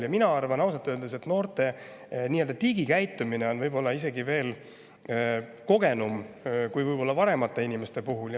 Mina arvan ausalt öeldes, et noorte digikäitumine on võib-olla isegi kui vanemate inimeste puhul.